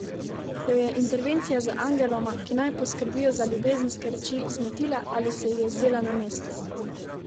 Jo je intervencija z angeloma, ki naj poskrbijo za ljubezenske reči, zmotila ali se ji je zdela na mestu?